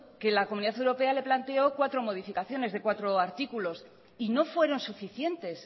que la comunidad europea le planteó cuatro modificaciones de cuatro artículos y no fueron suficientes